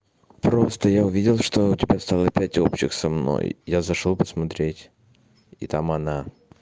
просто я увидел что у тебя стало пять общих со мной я зашёл посмотреть и там она